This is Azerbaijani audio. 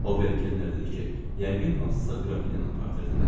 Ober Kenner dedi ki, yəqin hansısa qrafinyanın portretidir.